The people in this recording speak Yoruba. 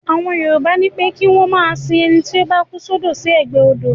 Àwọn Yorùbá ni pé kí wọ́n ma sin ẹnití ó bá kú sọ́dọ̀ sí ẹgbẹ́ odò